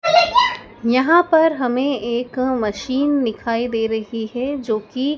यहां पर हमें एक मशीन दिखाई दे रही है जो की--